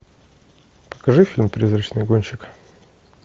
покажи фильм призрачный гонщик